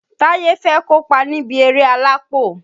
Táyé fẹ́ kópa níbi eré alápò